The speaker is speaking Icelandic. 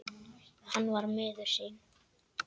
Hann var miður sín.